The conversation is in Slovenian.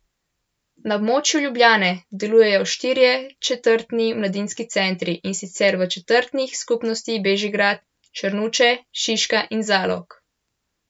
Na območju Ljubljane delujejo štirje četrtni mladinski centri, in sicer v četrtnih skupnostih Bežigrad, Črnuče, Šiška in Zalog.